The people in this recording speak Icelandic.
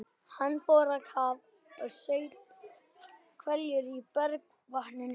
Hann fór á kaf og saup hveljur í bergvatninu.